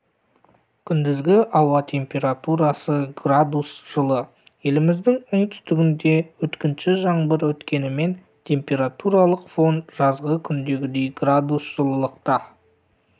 күндізгі ауа температурасы градус жылы еліміздің оңтүстігінде өткінші жаңбыр өткенімен температуралық фон жазғы күндегідей градус жылылықта